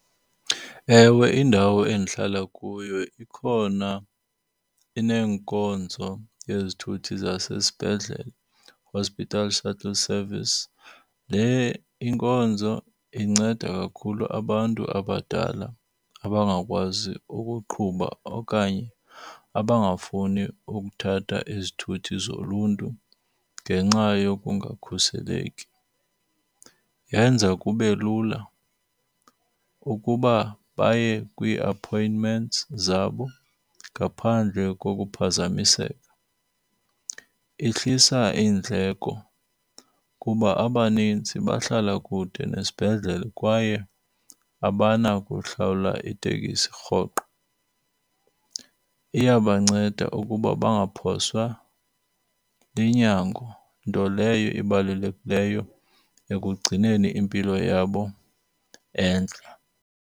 Ewe, indawo endihlala kuyo ikhona ineenkonzo yezithuthi zasesibhedlele, hospital shuttle service. Le inkonzo inceda kakhulu abantu abadala abangakwazi ukuqhuba okanye abangafuni ukuthatha izithuthi zoluntu ngenxa yokungakhuseleki. Yenza kube lula ukuba baye kwii-appointments zabo ngaphandle kokuphazamiseka. Ihlisa iindleko kuba abanintsi bahlala kude nesibhedlele kwaye abanakuhlawula itekisi rhoqo. Iyabanceda ukuba bangaphoswa linyango nto leyo ibalulekileyo ekugcineni impilo yabo entle.